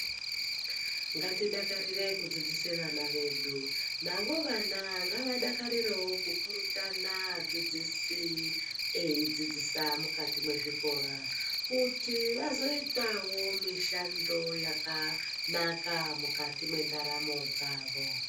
Ngati dakarire ku dzidzise vana vedu navo vana ngava dakarirewo ku purutana adzidzisi eyi dzidzisa mukati mwe zvikora kuti vazoitawo mishando yakanaka mukati me ndaramo dzavo.